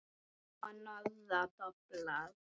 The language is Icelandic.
Og norður doblar.